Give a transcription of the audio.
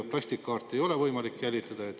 Plastkaarti ei ole võimalik jälitada.